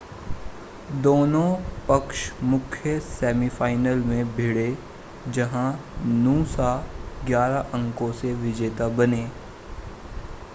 दोनों पक्ष मुख्य सेमीफ़ाइनल में भिड़े जहां नूसा 11 अंकों से विजेता बने